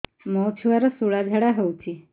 ମୋ ଛୁଆର ସୁଳା ଝାଡ଼ା ହଉଚି